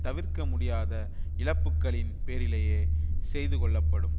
தவிர்க்க முடியாத இழப்புக்களின் பேரிலேயே செய்து கொள்ளப்படும்